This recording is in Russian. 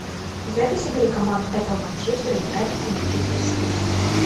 запись игры команд апл манчестер юнайтед и манчестер сити